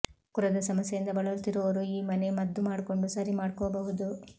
ಕುರದ ಸಮಸ್ಯೆಯಿಂದ ಬಳಲುತ್ತಿರೋರು ಈ ಮನೆ ಮದ್ದು ಮಾಡ್ಕೊಂಡು ಸರಿ ಮಾಡ್ಕೋಬಹುದು